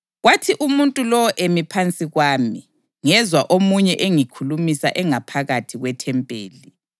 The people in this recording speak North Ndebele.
Kwathi umuntu lowo emi phansi kwami, ngezwa omunye engikhulumisa engaphakathi kwethempeli.